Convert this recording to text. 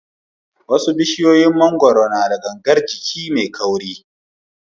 Wasu tushin mangoro na da gangar jiki mai kauri.